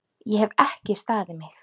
Ég hef ekki staðið mig!